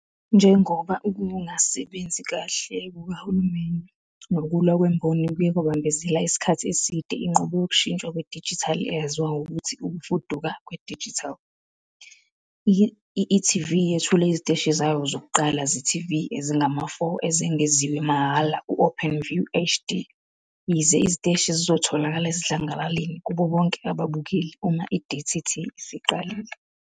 Njengoba ukungasebenzi kahle kukahulumeni nokulwa kwemboni kuye kwabambezela isikhathi eside inqubo yokushintshwa kwedijithali eyaziwa ngokuthi ukufuduka kwedijithali, i-e.tv yethule iziteshi zayo zokuqala ze-TV ezingama-4 ezengeziwe mahhala ku- OpenView HD, yize iziteshi zizotholakala esidlangalaleni kubo bonke ababukeli uma i-DTT isiqalile.